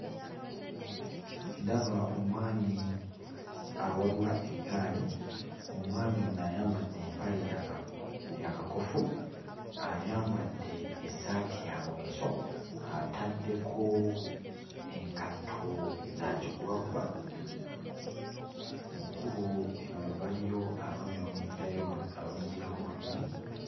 Ndaba omwami awalula eggaali. Omwami ono ayambadde empale ya ka ya kakofu, ayambadde essaati ya mweso, ataddeko engatto za kigubaguba. Mu kkubo emabega waliyo abaami abamujjirayo abamujjirako babiri.